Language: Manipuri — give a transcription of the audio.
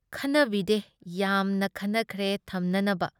ꯈꯟꯅꯕꯗꯤ ꯌꯥꯝꯅ ꯈꯟꯅꯈ꯭ꯔꯦ ꯊꯝꯅꯅꯕ ꯫